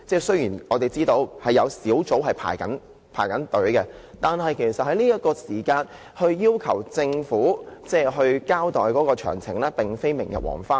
雖然我們知道有關的小組委員會已在輪候名單上，但在這刻要求政府交代事件詳情並非明日黃花。